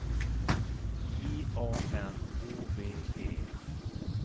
J A N O V E